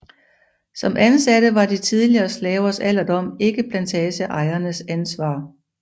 Som ansatte var de tidligere slavers alderdom ikke plantageejernes ansvar